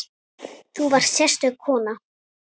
Þú varst sérstök kona.